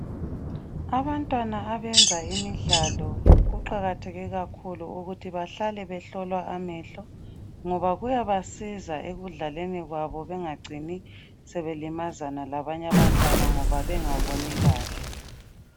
Abantwana abenza imidlalo kuqakatheke kakhulu ukuthi bahlale behlolwa amehlo ngoba kuyabasiza ekudlaleni kwabo bengacini sebelimazana labanye abantwana ngoba bengaboni kahle.